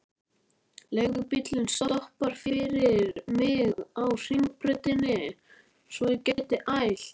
Leigubíllinn stoppar fyrir mig á Hringbrautinni svo ég geti ælt.